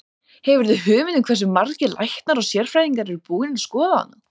Hefurðu hugmynd um hversu margir læknar og sérfræðingar eru búnir að skoða hana?